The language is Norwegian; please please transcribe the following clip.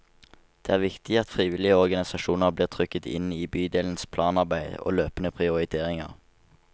Det er viktig at frivillige organisasjoner blir trukket inn i bydelens planarbeid og løpende prioriteringer.